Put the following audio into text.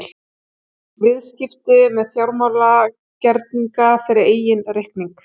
Viðskipti með fjármálagerninga fyrir eigin reikning.